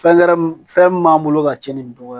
Fɛn kɛrɛn fɛn min b'an bolo ka cɛn ni nin dɔgɔ ye